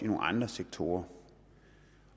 nogle andre sektorer